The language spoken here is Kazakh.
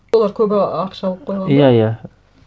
олар көбі ақша алып қойған ба иә иә